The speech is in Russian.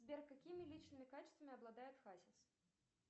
сбер какими личными качествами обладает хасис